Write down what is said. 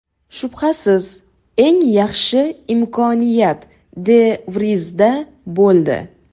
Shubhasiz, eng yaxshi imkoniyat De Vrizda bo‘ldi.